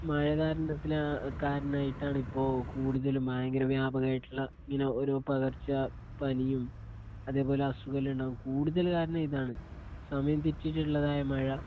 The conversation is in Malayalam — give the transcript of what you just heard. മഴ കാരണത്തില് കാരണമായിട്ടാണ് ഇപ്പോ കൂടുതലും ഭയങ്കര വ്യാപകമായിട്ടുള്ള ഇങ്ങനെ ഓരോ പകർച്ച പനിയും അതേ പോലെ അസുഖം എല്ലാം ഉണ്ടാകാ കൂടുതല് കാരണം ഇതാണ്സമയം തെറ്റിയിട്ടുള്ളതായ മഴ